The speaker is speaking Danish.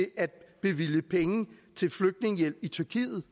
at bevilge penge til flygtningehjælp i tyrkiet